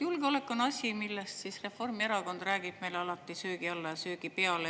Julgeolek on asi, millest siis Reformierakond räägib meile alati söögi alla ja söögi peale.